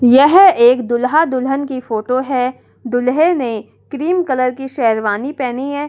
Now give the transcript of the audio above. यह एक दूल्हा दुल्हन की फोटो है दूल्हे ने क्रीम कलर की शेरवानी पहनी है।